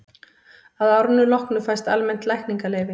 að árinu loknu fæst almennt lækningaleyfi